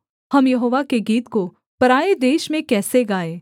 हम यहोवा के गीत को पराए देश में कैसे गाएँ